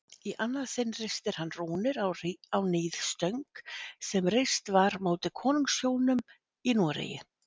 Í annað sinn ristir hann rúnir á níðstöng sem reist var móti konungshjónum í Noregi.